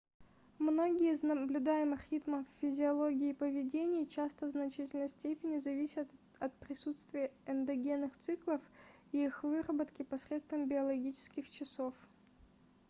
многие из наблюдаемых ритмов в физиологии и поведении часто в значительной степени зависят от присутствия эндогенных циклов и их выработки посредством биологических часов